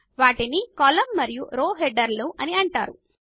వీటిని కాలమ్ మరియు రోల హెడర్లు అని అంటారు